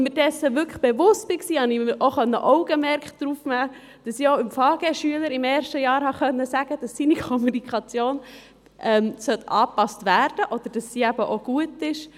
Als ich mir dessen bewusst wurde, konnte ich auch das Augenmerk darauf richten, dass ich einerseits den FaGe-Schülern im ersten Jahr auch sagen konnte, dass ihre Kommunikation angepasst werden muss oder dass diese eben auch gut ist.